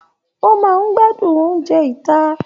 O máa n gbádùn oúnjẹ ita.